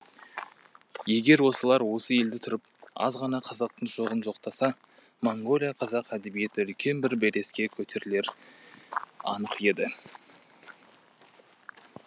егер осылар осы елде тұрып аз ғана қазақтың жоғын жоқтаса монғолия қазақ әдебиеті үлкен бір белеске көтерілері анық еді